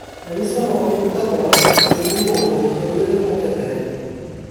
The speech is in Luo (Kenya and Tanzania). Ranyisi mage gin kaka ng`ol, del momoko, kod wenge mokethre.